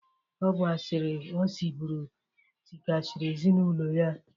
Ọ bụ asịrị o sịbụrụ tịkasịrị ezinaụlọ ya.